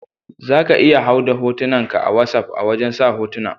Za ka iya hau da hotunan ka a wassap a wajen sa hotuna.